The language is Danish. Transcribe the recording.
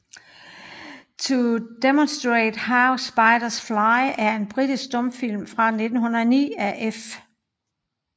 To Demonstrate How Spiders Fly er en britisk stumfilm fra 1909 af F